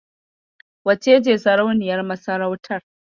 Wacece sarauniyar masarautar?